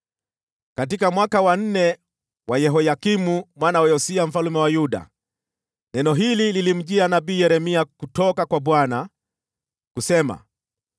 Katika mwaka wa nne wa Yehoyakimu mwana wa Yosia mfalme wa Yuda, neno hili lilimjia nabii Yeremia kutoka kwa Bwana , kusema: